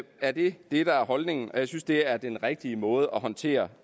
er det det der er holdningen og jeg synes det er en rigtig måde at håndtere